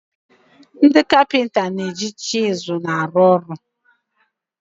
Ndị kapịnta na-eji chizụl arụ ọrụ.